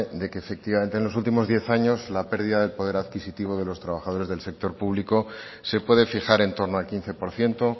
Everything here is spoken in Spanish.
de que efectivamente en los últimos diez años la pérdida del poder adquisitivo de los trabajadores del sector público se puede fijar en torno al quince por ciento